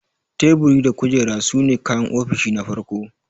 Teburi da kujera sune kayan ofishi na farko.